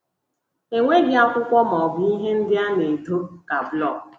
E nweghị akwụkwọ ma ọ bụ ihe ndị a na - edo ka blọk.